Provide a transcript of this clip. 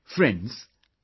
Friends,